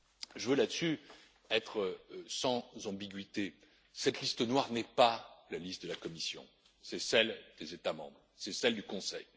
Je veux, là dessus, être sans ambiguïté cette liste noire n'est pas la liste de la Commission, c'est celle des États membres, c'est celle du Conseil.